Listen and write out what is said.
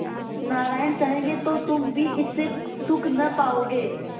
नारायण चाहेंगे तो तुम भी इससे सुख न पाओगे